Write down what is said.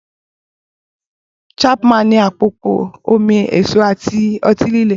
Chapman ní àpòpọ̀ omi èso àti ọtí líle.